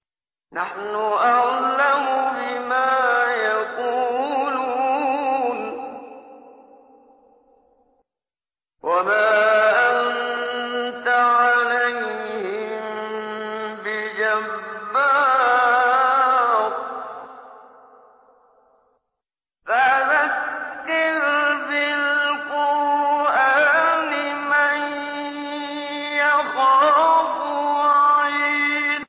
نَّحْنُ أَعْلَمُ بِمَا يَقُولُونَ ۖ وَمَا أَنتَ عَلَيْهِم بِجَبَّارٍ ۖ فَذَكِّرْ بِالْقُرْآنِ مَن يَخَافُ وَعِيدِ